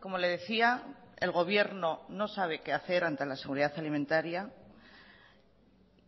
como le decía el gobierno no sabe qué hacer ante la seguridad alimentaria